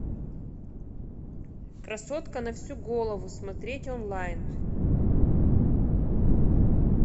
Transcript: красотка на всю голову смотреть онлайн